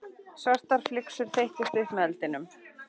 Svartar flygsur þeyttust upp með eldinum.